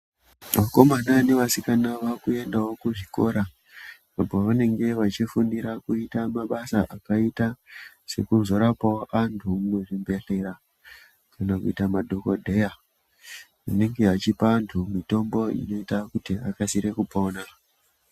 Vakomana nevasikana vakuendawo kuzvikora uko vanenge vachifundira kuita mabasa akaita sekuzorapawo antu muzvibhedhleya kana kuita madhokodheya anenge achipa anhu mitombo inoita kuti akasire kupona .